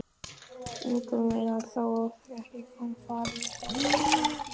Eigum við þá ekki að fara að koma okkur?